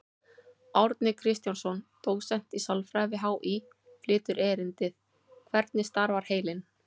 Árni Kristjánsson, dósent í sálfræði við HÍ, flytur erindið: Hvernig starfar heilinn?